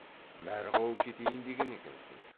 мәрғау кетейін деген екенсің